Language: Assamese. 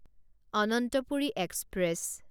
অনন্তপুৰী এক্সপ্ৰেছ